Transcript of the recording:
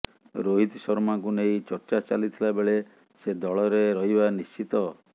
ରୋହିତ ଶର୍ମାଙ୍କୁ ନେଇ ଚର୍ଚ୍ଚା ଚାଲିଥିଲା ବେଳେ ସେ ଦଳରେ ରହିବା ନିଶ୍ଚିତ